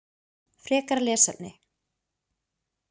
Frekara lesefni: